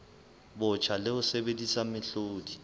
botjha le ho sebedisa mehlodi